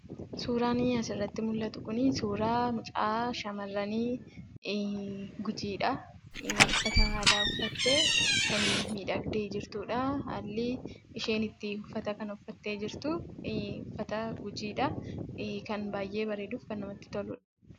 Suuraan asirratti mul'atu kun suuraa mucaa shamarranii gujiidha. Uffata aadaa uffattee kan miidhagdee jirtudha. Haalli isheen uffata kana uffattee jirtu uffata gujiidha. Kan baay'ee bareeduu fi namatti toludha.